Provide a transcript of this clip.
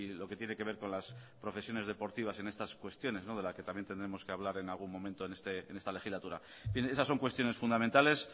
lo que tiene que ver con las profesiones deportivas en estas cuestiones de las que también tendremos que hablar en algún momento en esta legislatura esas son cuestiones fundamentales